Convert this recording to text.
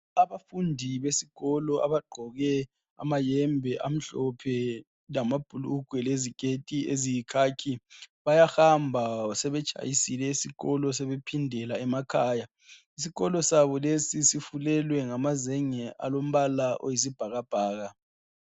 Abafundi besikolo abagqoke amayembe amhlophe lamabhulungwe leziketi eziyikhakhi bayahamba sebetshayisile esikolo sebephindela emakhaya isikolo sabo lesi sifulelwe ngamazenge alombala oyisibhakabhaka.